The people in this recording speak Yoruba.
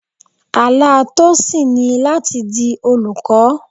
Àlá Tosin ni láti di olùkọ́.